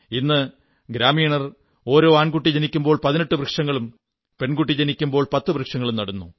ഇന്ന് ഗ്രാമീണർ ഒരോ ആൺകുട്ടി ജനിക്കുമ്പോൾ 18 വൃക്ഷങ്ങളും പെൺകുട്ടി ജനിക്കുമ്പോൾ 10 വൃക്ഷങ്ങളും നടുന്നു